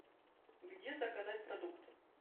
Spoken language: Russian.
где заказать продукты